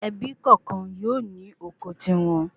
Ebí kọọkan yóò ní oko ti won